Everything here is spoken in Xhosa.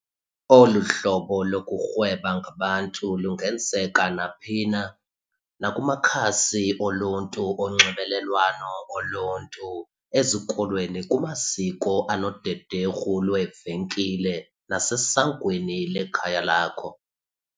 Olu hlobo lokurhweba ngabantu lungenzeka naphi na - naku makhasi oluntu onxibelelwano oluntu, ezikolweni, kumaziko anodederhu lweevenkile nasesangweni lekhaya lakho.